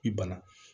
I bana